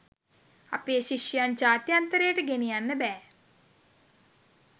අපේ ශිෂ්‍යයන් ජාත්‍යන්තරයට ගෙනියන්න බෑ.